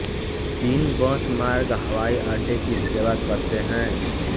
तीन बस मार्ग हवाई अड्डे की सेवा करते हैं